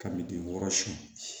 Ka min wɔɔrɔ susu